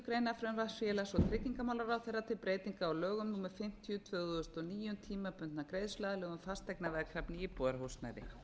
og tryggingamálaráðherra um breytingu á lögum númer fimmtíu tvö þúsund og níu um tímabundna greiðsluaðlögun fasteignaveðkrafna á íbúðarhúsnæði